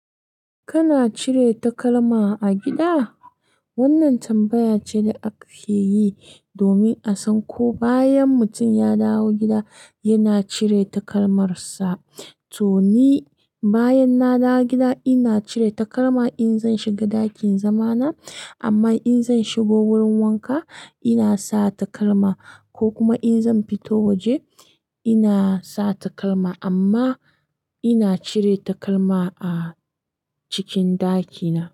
Kana cire takalma a gida? Wannan tambaya ce da aka fiyi domin a san ko bayan mutum ya dawo gida yana cire takalmarsa. To ni, bayan na dawo gida ina cire takalma in zan shiga ɗaki in zama na. Amma in zan shigo wurin wanka ina sa takalma, ko kuma in zan fito waje ina sa takalma. Amma ina cire takalma a cikin ɗaki na.